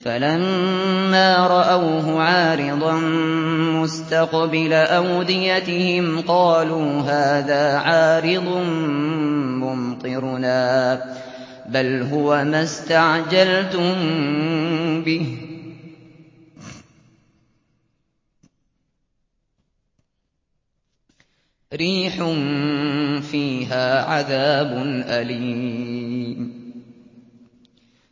فَلَمَّا رَأَوْهُ عَارِضًا مُّسْتَقْبِلَ أَوْدِيَتِهِمْ قَالُوا هَٰذَا عَارِضٌ مُّمْطِرُنَا ۚ بَلْ هُوَ مَا اسْتَعْجَلْتُم بِهِ ۖ رِيحٌ فِيهَا عَذَابٌ أَلِيمٌ